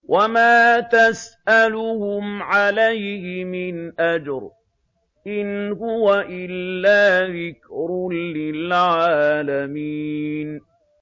وَمَا تَسْأَلُهُمْ عَلَيْهِ مِنْ أَجْرٍ ۚ إِنْ هُوَ إِلَّا ذِكْرٌ لِّلْعَالَمِينَ